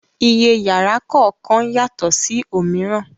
Iye yàrá kọ̀ọ̀kan yàtọ̀ sí òmíràn